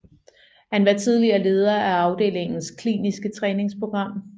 Han var tidligere leder af afdelingens kliniske træningsprogram